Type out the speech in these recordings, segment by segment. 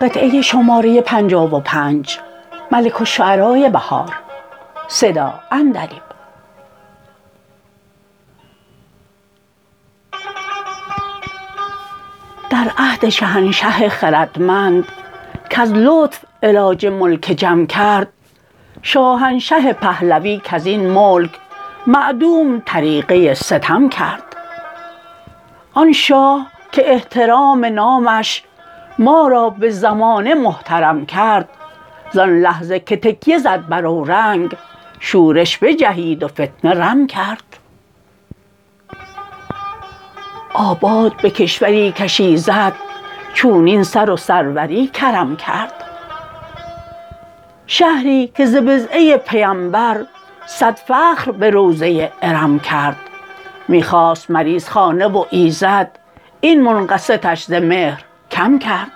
در عهد شهنشه خردمند کز لطف علاج ملک جم کرد شاهنشه پهلوی کزین ملک معدوم طریقه ستم کرد آن شاه که احترام نامش ما را به زمانه محترم کرد زان لحظه که تکیه زد بر اورنگ شورش بجهید وفتنه رم کرد آباد به کشوری کش ایزد چونین سر و سروری کرم کرد شهری که ز بضعه پیمبر ص صد فخر به روضه ارم کرد می خواست مریضخانه و ایزد این منقصتش ز مهر کم کرد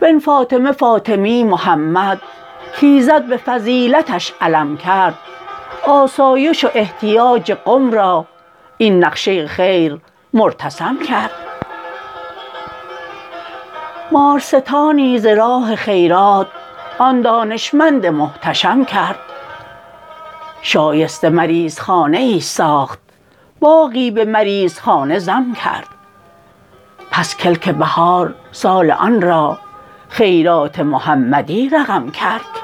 ب ن فاطمه فاطمی محمد کایزد به فضیلتش علم کرد آسایش و احتیاج قم را این نقشه خیر مرتسم کرد مار ستانی ز راه خیرات آن دانشمند محتشم کرد شایسته مریضخانه ای ساخت باغی به مریضخانه ضم کرد پس کلک بهار سال آن را خیرات محمدی رقم کرد